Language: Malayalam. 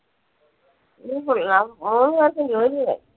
മൂന്ന് പേർക്കും ജോലിയായി.